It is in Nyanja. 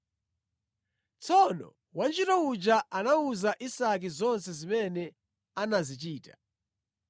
Tsono wantchito uja anawuza Isake zonse zimene anazichita.